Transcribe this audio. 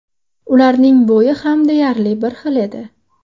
Ularning bo‘yi ham deyarli bir xil edi.